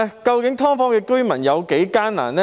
究竟"劏房"居民有多艱難呢？